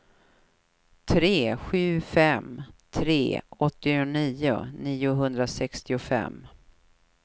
tre sju fem tre åttionio niohundrasextiofem